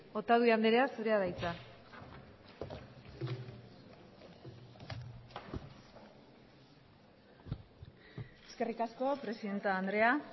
otadui andrea zurea da hitza eskerrik asko presidente andrea